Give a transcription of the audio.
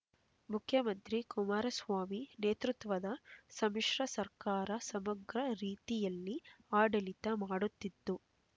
ಮುಖ್ಯಮಂತ್ರಿ ಕುಮಾರಸ್ವಾಮಿ ನೇತೃತ್ವದ ಸಮ್ಮಿಶ್ರ ಸರ್ಕಾರ ಸಮಗ್ರ ರೀತಿಯಲ್ಲಿ ಆಡಳಿತ ಮಾಡುತ್ತಿದ್ದು